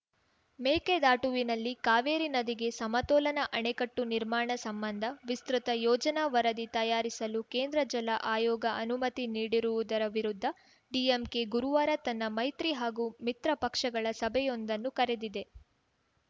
ಮೇಕೆದಾಟುವಿನಲ್ಲಿ ಕಾವೇರಿ ನದಿಗೆ ಸಮತೋಲನ ಅಣೆಕಟ್ಟು ನಿರ್ಮಾಣ ಸಂಬಂಧ ವಿಸ್ತೃತ ಯೋಜನಾ ವರದಿ ತಯಾರಿಸಲು ಕೇಂದ್ರ ಜಲ ಆಯೋಗ ಅನುಮತಿ ನೀಡಿರುವುದರ ವಿರುದ್ಧ ಡಿಎಂಕೆ ಗುರುವಾರ ತನ್ನ ಮೈತ್ರಿ ಹಾಗೂ ಮಿತ್ರ ಪಕ್ಷಗಳ ಸಭೆಯೊಂದನ್ನು ಕರೆದಿದೆ